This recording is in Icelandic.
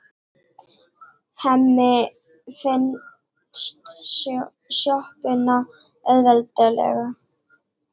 Hemmi finnur sjoppuna auðveldlega.